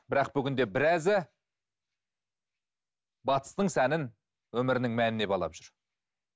бірақ бүгінде біразы батыстың сәнін өмірінің мәніне балап жүр